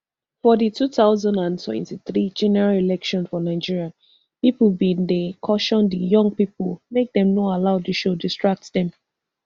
for di two thousand and twenty-three general election for nigeria pipo bin dey caution di young pipo make dem no allow di show distract dem